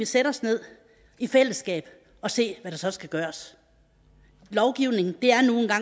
sætte os ned i fællesskab og se hvad der så skal gøres lovgivningen